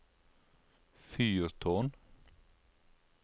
fyrtårn